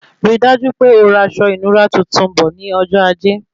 Rí dájú pé ora aṣọ ìnura tuntun bọ̀ ní ọjọ ajé